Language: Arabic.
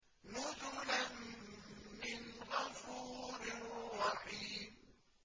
نُزُلًا مِّنْ غَفُورٍ رَّحِيمٍ